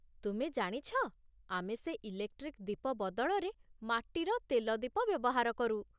ତୁମେ ଜାଣିଛ, ଆମେ ସେ ଇଲେକ୍ଟ୍ରିକ୍ ଦୀପ ବଦଳରେ ମାଟିର ତେଲ ଦୀପ ବ୍ୟବହାର କରୁ ।